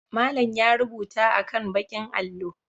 Malam ya rubuta akan ɓakin allo.